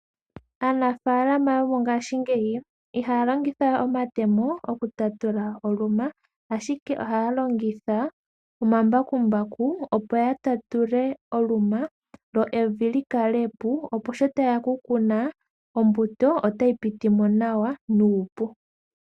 Aanafaalama yongashingeyi ihaya longitha we omatemo oku tatula oluma, ashike ohaya longitha omambakumbaku opo ya tatule oluma lyo evi li kalepo opo sho taya ka kuna ombuto otayi pitimo nawa nuupu.